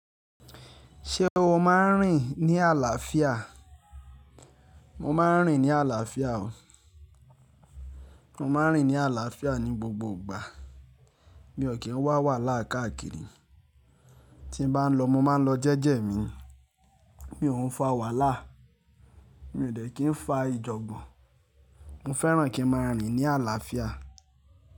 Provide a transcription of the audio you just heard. Ṣé o máa ń rìn ní àlàáfíà? Mo máa ń rìn ní àlàáfíà o. Mo máa ń rìn ní àlàáfíà ní gbogbo ìgbà. Mi ò kí ń wà wàhálà káàkiri. Tí mo bá ń lọ, mo máa ń lọ jẹ́jẹ́ mi. Mi ò ún fa wàhálà. Mi ò dẹ̀ kí ń fa ìjọ̀gbọ̀n. Mo fẹ́ràn kí ń máa rìn ní àlàáfíà.